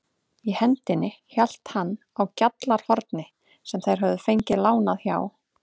Í hendinni hélt hann á GJALLARHORNI sem þeir höfðu fengið lánað hjá